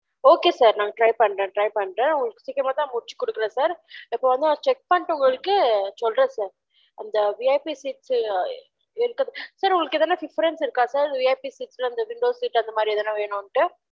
okay sir நான் try பன்றேன் try பன்றேன் இபொ உங்கலுக்கு நன் சிக்கிரமா தான் முடிச்சி குடுகுரென் sir இப்பொ வந்து check பன்னிட்டு உங்களுக்கு சொல்ட்ரேன் sir அந்த VIPsir உங்களுக்கு எதுன difference இருக்கா sir VIP seat ல window seat அதுமரி எதுனா வெனும்ட்டு